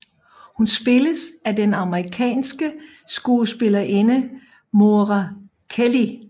Hun spilles af den amerikanske skuespillerinde Moira Kelly